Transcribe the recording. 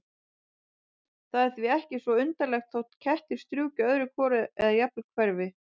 Það er því ekki svo undarlegt þótt kettir strjúki öðru hvoru eða jafnvel hverfi.